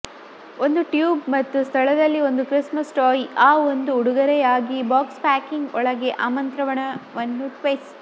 ಒಂದು ಟ್ಯೂಬ್ ಮತ್ತು ಸ್ಥಳದಲ್ಲಿ ಒಂದು ಕ್ರಿಸ್ಮಸ್ ಟಾಯ್ ಆ ಒಂದು ಉಡುಗೊರೆಯಾಗಿ ಬಾಕ್ಸ್ ಪ್ಯಾಕಿಂಗ್ ಒಳಗೆ ಆಮಂತ್ರಣವನ್ನು ಟ್ವಿಸ್ಟ್